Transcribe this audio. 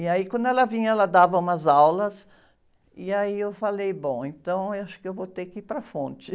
E aí quando ela vinha, ela dava umas aulas, e aí eu falei, bom, então acho que eu vou ter que ir para a fonte.